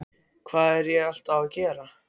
Hvað er ég alltaf að gera?